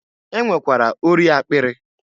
E nwekwara ori akpịrị.